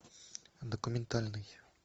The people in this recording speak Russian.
документальный